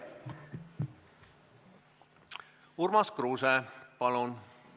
Urmas Kruuse, palun!